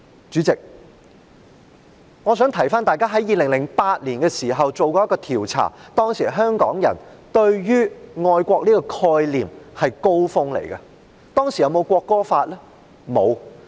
主席，我想提醒大家 ，2008 年曾進行一項調查，當時香港人對於愛國的概念是達到"高峰"的，當時有沒有國歌法？